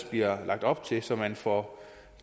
bliver lagt op til så man får